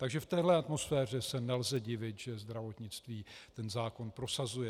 Takže v téhle atmosféře se nelze divit, že zdravotnictví ten zákon prosazuje.